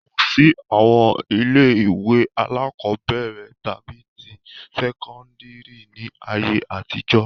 Kò sí àwọn ilé-ìwé alákọ̀ọ́bẹ̀rẹ̀ tàbí ti sẹ́kọ́ndárì ní ayé àtijọ́.